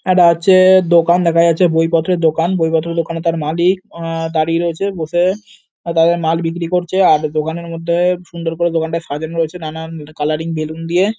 এটা হচ্ছে-এ- দোকান দেখা যাচ্ছে। বইপত্রের দোকান। বইপত্রের দোকানে তাঁর মালিক আ- দাঁড়িয়ে রয়েছে। বসে তাদের মাল বিক্রি করছে আর দোকানের মধ্যে সুন্দর করে দোকানটা সাজানো হয়েছে নানান কালারিং বেলুন দিয়ে-এ--